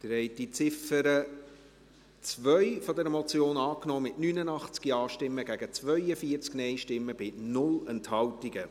Sie haben die Ziffer 2 dieser Motion angenommen, mit 89 Ja- gegen 42 Nein-Stimmen bei 0 Enthaltungen.